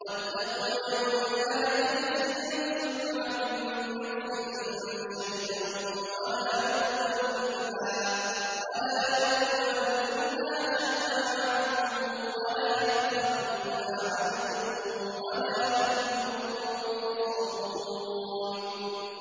وَاتَّقُوا يَوْمًا لَّا تَجْزِي نَفْسٌ عَن نَّفْسٍ شَيْئًا وَلَا يُقْبَلُ مِنْهَا شَفَاعَةٌ وَلَا يُؤْخَذُ مِنْهَا عَدْلٌ وَلَا هُمْ يُنصَرُونَ